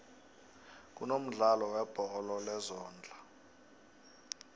kunomdlalo webholo lezondla